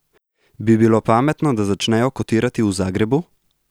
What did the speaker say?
Bi bilo pametno, da začnejo kotirati v Zagrebu?